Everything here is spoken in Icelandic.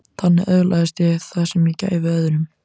Þannig öðlaðist ég það sem ég gæfi öðrum.